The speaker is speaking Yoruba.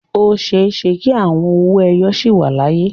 O ṣeé ṣe kí àwọn owó ẹyọ sì wà láyé.